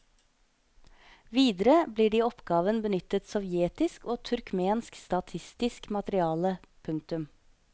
Videre blir det i oppgaven benyttet sovjetisk og turkmensk statistisk materiale. punktum